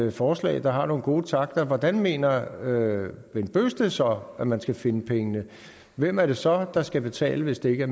et forslag der har nogle gode takter hvor mener herre bent bøgsted så at man skal finde pengene hvem er det så der skal betale hvis det ikke